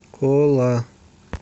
кола